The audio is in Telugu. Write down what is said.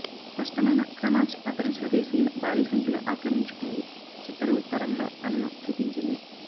స్పష్టమైన క్రనాచ్ అతని స్వదేశీయుల భారీ సంఖ్యలో ఆక్రమించుకుంది చిత్తరువు తరంలో తనను చూపించింది